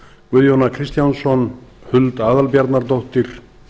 guðjón a kristjánsson huld aðalbjarnardóttir